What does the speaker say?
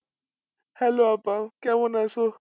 hello আপা কেমন আছো?